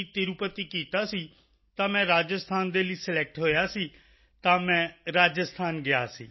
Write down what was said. ਤਿਰੁਪਤੀ ਕੀਤਾ ਸੀ ਤਾਂ ਮੈਂ ਰਾਜਸਥਾਨ ਦੇ ਲਈ ਸਿਲੈਕਟ ਹੋਇਆ ਸੀ ਤਾਂ ਮੈਂ ਰਾਜਸਥਾਨ ਗਿਆ ਸੀ